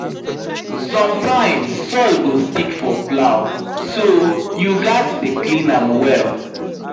sometimes soil go stick for plow so you gatz dey clean am well